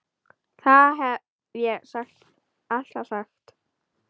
Það hef ég alltaf sagt.